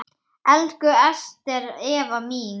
Elsku Ester Eva mín.